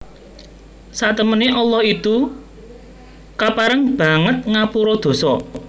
Satemene Allah itu kapareng banget ngapura dosa